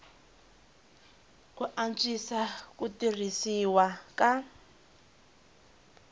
ku antswisa ku tirhisiwa ka